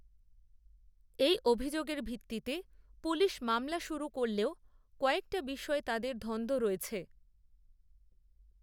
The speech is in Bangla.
এই অভিযোগের ভিত্তিতে পুলিশ মামলা শুরু করলেও কয়েকটা বিষয়ে তাদের ধন্ধ রয়েছে